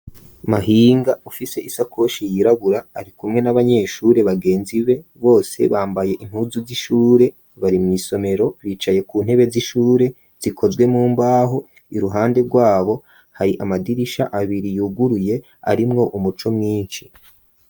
Mahinga ufise isakoshi yirabura arikumwe n'abanyeshure bagenzi be, bose bambaye impuzu z'ishure bari mw'isomero, bicaye ku ntebe z'ishure zikozwe mu mbaho, iruhande rwabo hari amadirisha abiri yuguruye, arimwo umuco mwinshi.